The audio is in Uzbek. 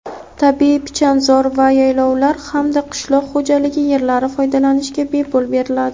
tabiiy pichanzor va yaylovlar hamda qishloq xo‘jaligi yerlari foydalanishga bepul beriladi.